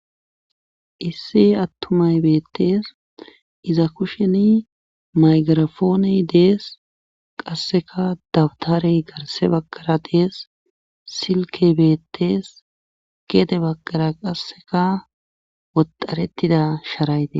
issi attumay beettees, iza kusheni maygarafoone dees, qasseka dawtare garse bagara dees, silke beettees geede bakara qasseka woxaretida sharayte betes.